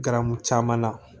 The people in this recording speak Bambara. Garamu caman na